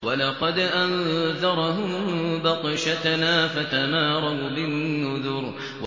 وَلَقَدْ أَنذَرَهُم بَطْشَتَنَا فَتَمَارَوْا بِالنُّذُرِ